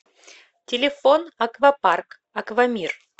телефон аквапарк аквамир